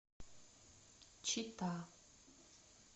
чита